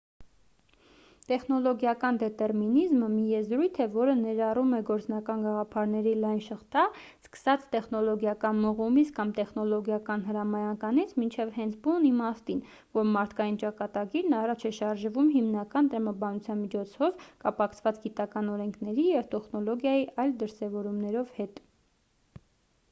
տեխնոլոգիական դետերմինիզմը մի եզրույթ է որը ներառում է գործնական գաղափարների լայն շղթա սկսած տեխնոլոգիական մղումից կամ տեխնոլոգիական հրամայականից մինչև հենց բուն իմաստին որ մարդկային ճակատագիրն առաջ է շարժվում հիմնական տրամաբանության միջոցով կապակցված գիտական օրենքների և տեխնոլոգիայի այլ դրսևորումներով հետ